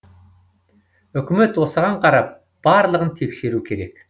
үкімет осыған қарап барлығын тексеру керек